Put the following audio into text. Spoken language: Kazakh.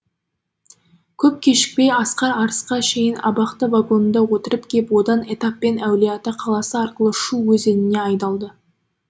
көп кешікпей асқар арысқа шейін абақты вагонында отырып кеп одан этаппен әулиеата қаласы арқылы шу өзеніне айдалды